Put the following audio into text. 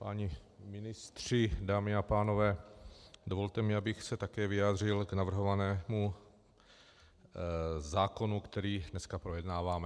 Páni ministři, dámy a pánové, dovolte mi, abych se také vyjádřil k navrhovanému zákonu, který dneska projednáváme.